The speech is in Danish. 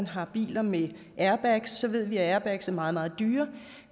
har biler med airbags og så ved vi at airbags er meget meget dyre